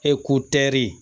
Eko tɛri